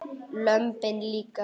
Lömbin líka.